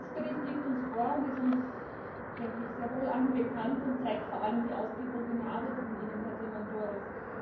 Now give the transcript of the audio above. Der Jahresbericht liegt uns vor und ist uns, denke ich, sehr wohl allen bekannt und zeigt vor allem die ausgewogene Arbeit von Ihnen, Her Diamandouros.